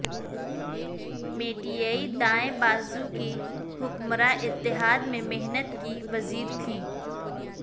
میٹیئی دائیں بازو کی حکمراں اتحاد میں محنت کی وزیر تھیں